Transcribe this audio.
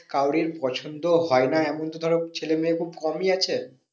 কারোরই পছন্দ হয় না এমন তো ধরো ছেলে মেয়ে খুব কমই আছে